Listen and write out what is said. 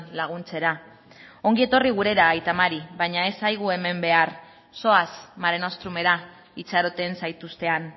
laguntzera ongi etorri gurera aita mari baina ez zaigu hemen behar zoaz mare nostrumera itxaroten zaituzte han